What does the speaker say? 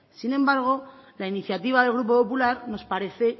sin embargo la iniciativa del grupo popular nos parece